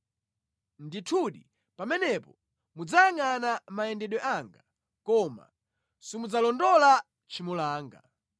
Ndithudi pamenepo mudzayangʼana mayendedwe anga koma simudzalondola tchimo langa.